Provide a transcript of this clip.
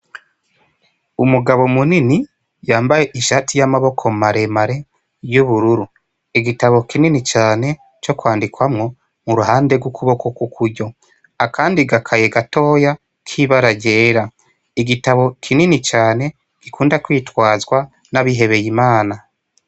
umugabo munini yambaye ishati y'amaboko maremare y'ubururu igitabo kinini cane co kwandikwamwo mu ruhande rw'ukuboko kukuryo akandi gakaye gatoya k'ibararyera igitabo kinini cane gikunda kwitwazwa n'abihebeye imana